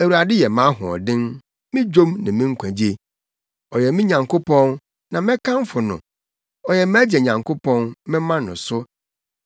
“ Awurade yɛ mʼahoɔden, me dwom ne me nkwagye. Ɔyɛ me Nyankopɔn, na mɛkamfo no. Ɔyɛ mʼagya Nyankopɔn, mɛma no so.